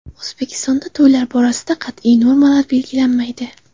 O‘zbekistonda to‘ylar borasida qat’iy normalar belgilanmaydi.